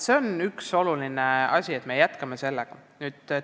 See on oluline, et me sellega jätkame.